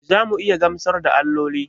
Za mu iya gamsar da alloli?